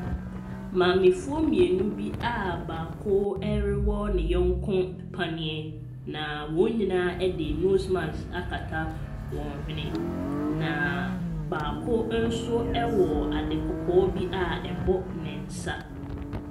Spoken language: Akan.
Maamefoɔ mmienu a baako ɛrewɔ ne nyɔnko paneɛ, na wɔn nyinaa de nose mask akata wɔn hwene, na baako nso wɔ ade kɔkɔɔ bi a ɛbɔ ne nsa.